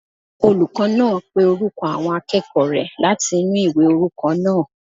Olùkọ́ náà pé orúkọ àwọn akẹ́kọ̀ọ́ rẹ̀ láti inú ìwé orúkọ náà